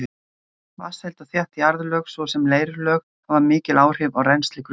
Vatnsheld og þétt jarðlög, svo sem leirlög, hafa mikil áhrif á rennsli grunnvatns.